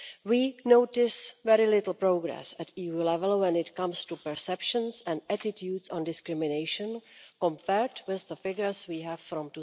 We notice very little progress at EU level when it comes to perceptions and attitudes on discrimination compared with the figures we have from